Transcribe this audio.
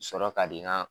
Sɔrɔ ka di n ka